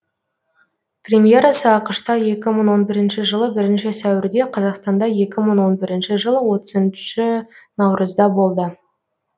премьерасы ақш та екі мың он бірінші жылы бірінші сәуірде қазақстанда екі мың он бірінші жылы отызыншы наурызда болды